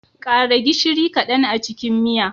Ƙara gishiri kadan a cikin miya.